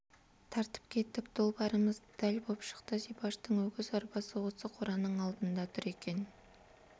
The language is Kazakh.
тартып кеттік долбарымыз дәл боп шықты зибаштың өгіз арбасы осы қораның алдында тұр екен